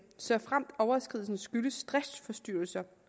såfremt overskridelsen skyldes driftsforstyrrelser